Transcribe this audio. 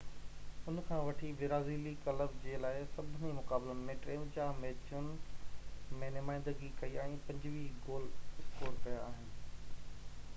ان کان وٺي برازيلي ڪلب جي لاءِ سڀني مقابلن ۾ 53 ميچن ۾ نمائندگي ڪئي ۽ 25 گول اسڪور ڪيا آهن